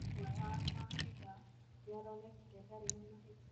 Ũmwe wa maabitha nĩaronekire ndarĩ na mahĩtia